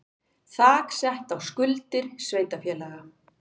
Þak sett á skuldir sveitarfélaga